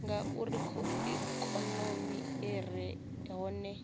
ngauri ikonomi i re hone